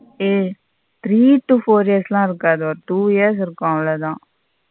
ம் three to four years ல இருக்காது ஒரு two years இருக்கும் அவளோத.